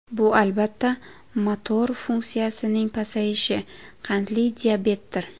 Bu albatta, motor funksiyasining pasayishi, qandli diabetdir.